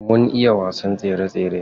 Mun iya wasan tsere tsere.